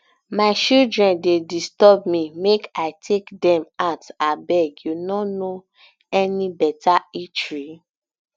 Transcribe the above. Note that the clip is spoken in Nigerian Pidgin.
my children dey disturb me make i um take dem um out abeg you no any beta eatery